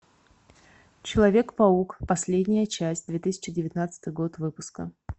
человек паук последняя часть две тысячи девятнадцатый год выпуска